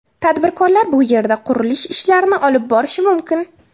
Tadbirkorlar bu yerda qurilish ishlarini olib borishi mumkin.